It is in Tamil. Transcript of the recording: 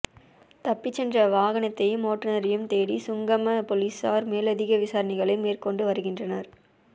தப்பிச்சென்ற வாகனத்தையும் ஓட்டுனரையும் தேடி ஹுங்கம பொலிஸார் மேலதிக விசாரணைகளை மேற்கொண்டு வருகின்றனர்